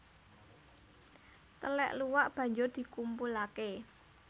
Telèk luwak banjur dikumpulake